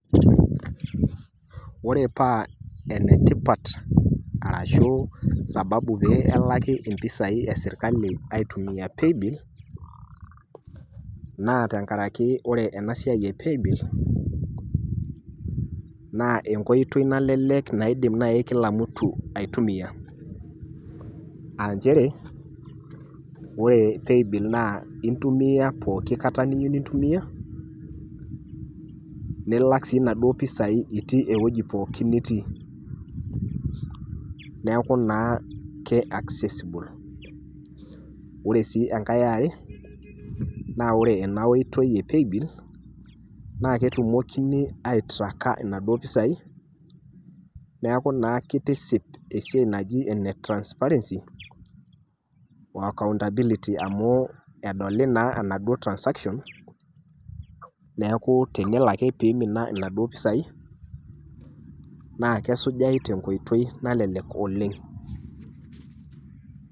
Ore paa enetipat arashuu sababu pee elaki impisai esirkali aitumia  paybill naa tengaraki ore enasiai e paybill naa enkoitoi nalelek naaidim nai kila mtu aitumia aa nchere ore paybill naa intumia pooki kata niyiou nintumia nilak sii naduo mpisai itii ewueji pooki nitii. Neaku naa ke accessible. Ore sii engai e are naa ore enaiotoi e paybill naaketumokini aitraaka inaduo pisai neaku naa keitisip esiai naji ene transparency o accountability amuu edoli naa enaduo transaction neaku tenelo ake peeimina inaduo pisai naa kesujai tenkoitoi nalelek oleng'.